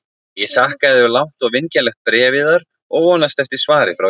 Ég þakka yður langt og vingjarnlegt bréf yðar og vonast eftir svari frá yður.